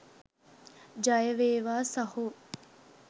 ජයවේවා සහො.